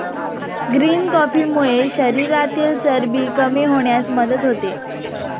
Green कॉफीमुळे शरीरातील चरबी कमी होण्यास मदत होते.